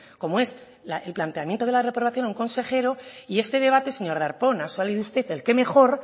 como es el replanteamiento de la reprobación a un consejero y este debate señor darpón ha salido usted el qué mejor